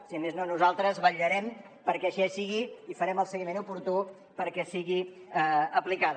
si més no nosaltres vetllarem perquè així sigui i farem el seguiment oportú perquè sigui aplicada